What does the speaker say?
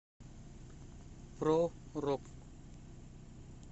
про рок